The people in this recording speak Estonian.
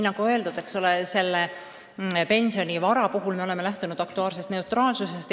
Nagu öeldud, pensionivara puhul me oleme lähtunud aktuaarsest neutraalsusest.